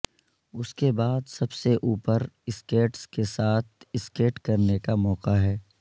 اس کے بعد سب سے اوپر سکیٹس کے ساتھ سکیٹ کرنے کا موقع ہے